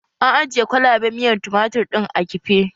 An ajiye kwalaɓen miyar tumatir ɗin a kife